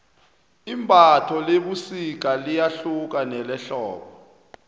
imbatho lebusika liyahluka kunelehlobo